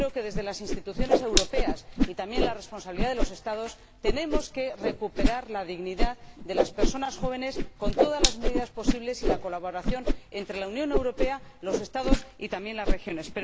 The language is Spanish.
Creo que, desde las instituciones europeas y también desde la responsabilidad de los Estados, tenemos que recuperar la dignidad de las personas jóvenes con todas las medidas posibles y la colaboración entre la Unión Europea, los Estados y también las regiones.